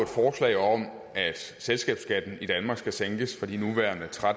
forslag om at selskabsskatten i danmark skal sænkes fra de nuværende tre og